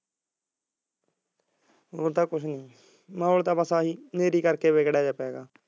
ਹੁਣ ਤਾਂ ਬਸ ਕੁਝ ਨੀ ਮਹੌਲ ਤਾਂ ਬਸ ਆਹੀ ਹਨੇਰੀ ਕਰਕੇ ਵਿਗੜਿਆਂ ਜਾ ਪੈ ਗਿਆ